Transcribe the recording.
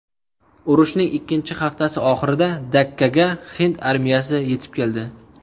Urushning ikkinchi haftasi oxirida Dakkaga hind armiyasi yetib keldi.